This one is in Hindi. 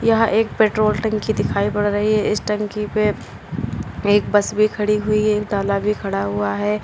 यह एक पेट्रोल टंकी दिखाई पड़ रही है इस टंकी पे एक बस भी खड़ी हुई है ताला भी खड़ा हुआ है।